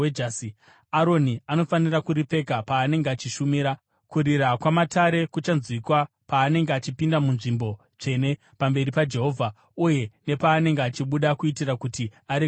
Aroni anofanira kuripfeka paanenge achishumira. Kurira kwamatare kuchanzwikwa paanenge achipinda muNzvimbo Tsvene pamberi paJehovha uye nepaanenge achibuda, kuitira kuti arege kufa.